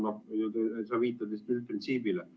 Sa viitad üldprintsiibile.